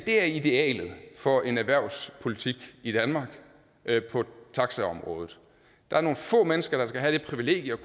er idealet for en erhvervspolitik i danmark på taxaområdet der er nogle få mennesker der skal have det privilegium